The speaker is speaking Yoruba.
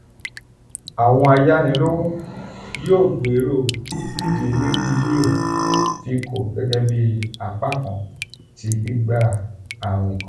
awọn ayanilowo yoo gbero dimegilio fico gẹgẹbi apakan ti gbigba awin kan.